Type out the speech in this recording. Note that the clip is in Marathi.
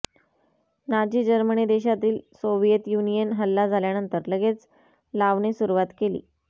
नाझी जर्मनी देशातील सोव्हिएत युनियन हल्ला झाल्यानंतर लगेच लावणे सुरुवात केली